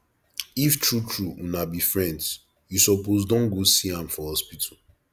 if true true una be friends you suppose don go see am for hospital